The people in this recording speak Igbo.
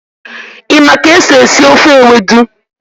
Ị ma ka esi esi ofe Ewedu?